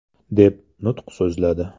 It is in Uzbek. !”, deb nutq so‘zladi.